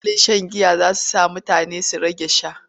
Illolin shan giya za su sanya mutane su rage sha.